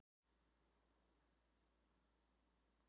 Fer varan á markað og þá hvenær?